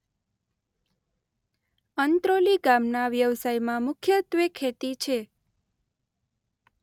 અંત્રોલી ગામના વ્યવસાયમાં મુખ્યત્વે ખેતી છે.